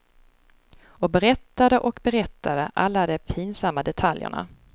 Och berättade och berättade, alla de pinsamma detaljerna.